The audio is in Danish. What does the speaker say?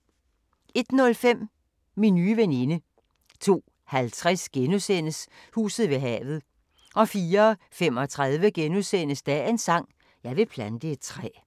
01:05: Min nye veninde 02:50: Huset ved havet * 04:35: Dagens sang: Jeg vil plante et træ *